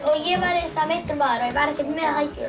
ég væri meiddur maður og væri ekkert með hækjur